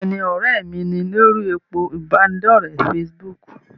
Bẹ́ẹ̀ni, ọ̀rẹ́ mi ni lórí òpó ìbánidọ́rẹ̀ fesibúùkù.